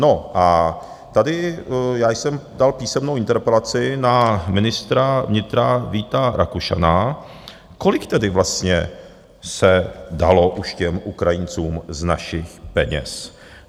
No a tady já jsem dal písemnou interpelaci na ministra vnitra Víta Rakušana, kolik tedy vlastně se dalo už těm Ukrajincům z našich peněz?